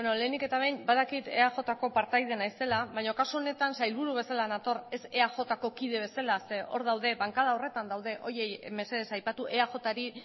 lehenik eta behin badakit eajko partaide naizela baina kasu honetan sailburu bezala nator ez eajko kide bezala zeren hor daude bankada horretan daude horiei mesedez aipatu eajri